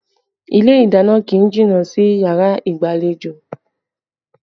Ilé ìdáná kì í jìnnà sí yàrá ìgbàlejò